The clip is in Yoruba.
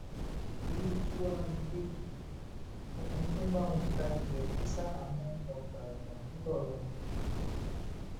irú kí wàá lélẹyìí ọkùnrin tó ń bá wọn ta ilẹ̀ kù sáhàámọ́ ọgbà ẹ̀wọ̀n ńlọrọrìn